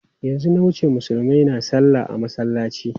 Yanzu na wuce Musulmai na salla a masallaci.